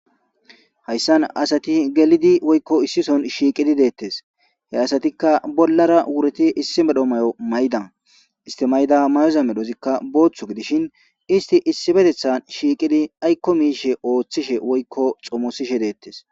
Hayssan asati gelidi woykko issison shiiqidi deettes he asatikka bollara wureti issi medho may7o maydan istimayda mayoza medhozikka booththu gidishin isti issibetethan shiiqidi aykko miishe ooththishe woykko xomosishe deettes.